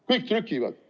Kõik trükivad.